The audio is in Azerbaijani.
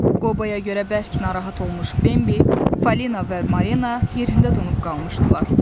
Qoboya görə bərk narahat olmuş Bembi, Falina və Marina yerində donub qalmışdılar.